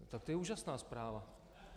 Tak to je úžasná zpráva.